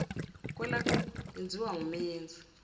kwelakubo yenziwa ngumenzi